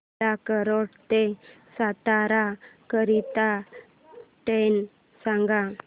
मला कराड ते सातारा करीता ट्रेन सांगा